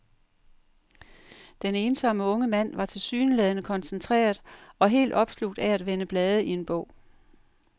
Den ensomme unge mand var tilsyneladende koncentreret og helt opslugt af at vende blade i en bog.